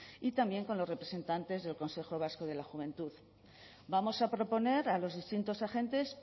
y también con los representantes del consejo vasco de la juventud vamos a proponer a los distintos agentes